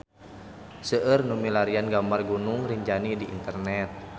Seueur nu milarian gambar Gunung Rinjani di internet